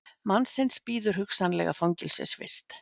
Mannsins bíður hugsanlega fangelsisvist